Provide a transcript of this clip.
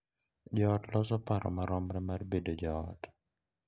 Jo ot loso paro maromre mar bedo jo ot